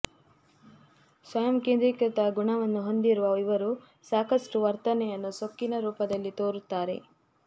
ಸ್ವಯಂ ಕೇಂದ್ರೀಕೃತ ಗುಣವನ್ನು ಹೊಂದಿರುವ ಇವರು ಸಾಕಷ್ಟು ವರ್ತನೆಯನ್ನು ಸೊಕ್ಕಿನ ರೂಪದಲ್ಲಿ ತೋರುತ್ತಾರೆ